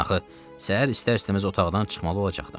Axı səhər istər-istəməz otaqdan çıxmalı olacaqdım.